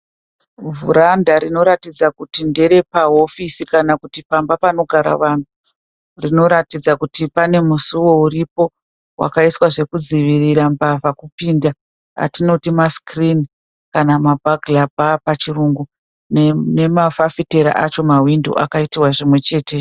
Vhuranda rinoratidza kuti nderepahofisi kana kuti pamba panogara vanhu rinoratidza kuti pane musuwo uripo wakaiswa zvekudzivirira mbavha kupinda atinoti masikirini kana kuti mabhagirabhaa pachirungu nemafafitera acho mahwindo akaitwa zvimwe chete.